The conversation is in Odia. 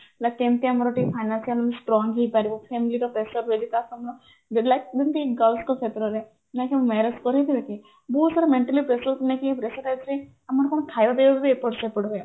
like କେମିତି ମାର ଟିକେ financial strong ହେଇପାରିବ family ର pressure ହେରିଗା ଯେମିତି girls ଙ୍କ କ୍ଷେତରେ marriage ବହୁତ ସାରା mentally pressure କୁ ନେଇକି ଆମର କଣ ଖାଇବା ପିଇବା ଟା ବି ଟିକେ ଏପଟ ସେପଟ ହୁଏ